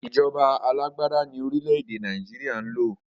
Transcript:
Ìjọba alàgbàda ní orílẹ̀ èdè Nàìjíríà ń lò